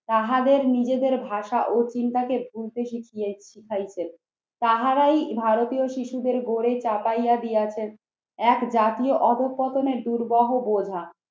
তাহাদের নিজেদের ভাষা ও চিন্তাকে ভুলতে শিখিয়ে শিখাইছেন। তাহারাই ভারতীয় শিশুদের গড়ে চাপাইয়া দিয়াছেন এক জাতীয় অধঃপতনের দুর্বহ বোঝা।